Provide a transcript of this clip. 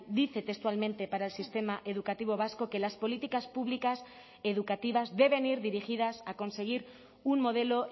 dice textualmente para el sistema educativo vasco que las políticas públicas educativas deben ir dirigidas a conseguir un modelo